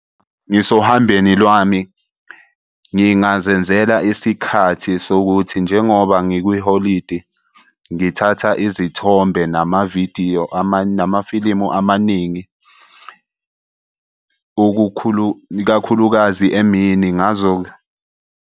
Ngisohambeni lwami ngingazenzela isikhathi sokuthi njengoba ngikwiholidi ngithatha izithombe namavidiyo , namafilimu amaningi, ikakhulukazi emini .